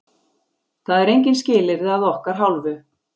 Það eru engin skilyrði að okkar hálfu.